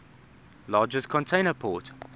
largest container port